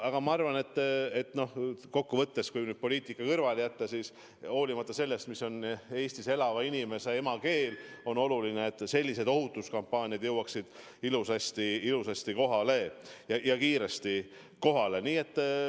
Aga ma arvan, et kokkuvõttes, kui poliitika kõrvale jätta, olenemata sellest, mis on Eestis elava inimese emakeel, on oluline, et selliseid ohutuskampaaniad jõuaksid igaüheni ilusasti ja kiiresti kohale.